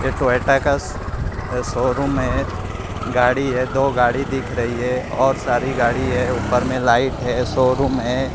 ये टोयोटा कस शोरूम है गाड़ी है दो गाड़ी दिख रही है और सारी गाड़ी है ऊपर में लाइट है शोरूम है।